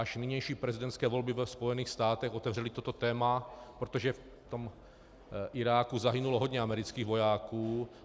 Až nynější prezidentské volby ve Spojených státech otevřely toto téma, protože v tom Iráku zahynulo hodně amerických vojáků.